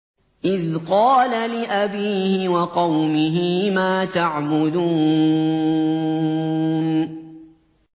إِذْ قَالَ لِأَبِيهِ وَقَوْمِهِ مَا تَعْبُدُونَ